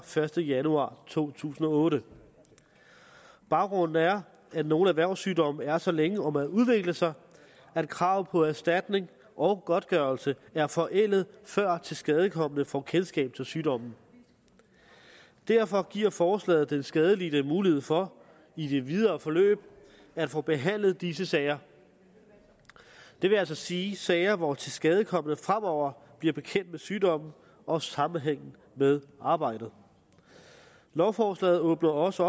første januar to tusind og otte baggrunden er at nogle erhvervssygdomme er så længe om at udvikle sig at krav på erstatning og godtgørelse er forældede før tilskadekomne får kendskab til sygdommen derfor giver forslaget den skadelidte mulighed for i det videre forløb at få behandlet disse sager det vil altså sige sager hvor tilskadekomne fremover bliver bekendt med sygdommen og sammenhængen med arbejdet lovforslaget åbner også